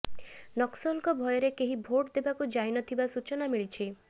ନକ୍ସଲଙ୍କ ଭୟରେ କେହି ଭୋଟ୍ ଦେବାକୁ ଯାଇନଥିବା ସୂଚନା ମିଳିଛି